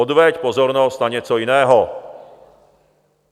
Odveď pozornost na něco jiného.